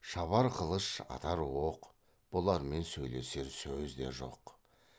шабар қылыш атар оқ бұлармен сөйлесер сөз де жоқ